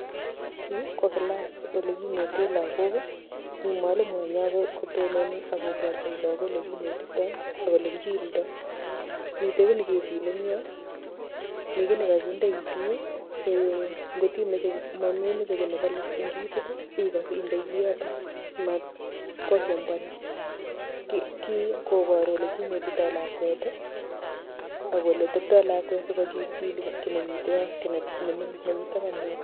Yu ko class ole kinete lagok mi mwalimu inee kotononi akoborchin lagok ole kinetitoi ak ole kichildoi. Mite ki nekechile ing yomi ki nekakinde itiik singotimeche mememeche ki nebole eng itiit indai kiotok si matkosumbuanin. Kii koboru ole kinetitoi lakwet akole teptoi lakwet sikochilchili kii nemite yo ki nemingin nemite yotok.